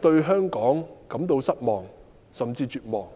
對香港感到失望，甚至絕望。